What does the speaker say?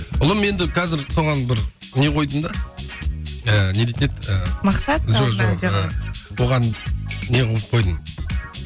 ұлым енді қазір соған бір не қойдым да ыыы не дейтін еді ііі оған не қылып қойдым